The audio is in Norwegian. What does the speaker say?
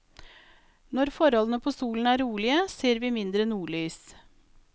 Når forholdene på solen er rolige, ser vi mindre nordlys.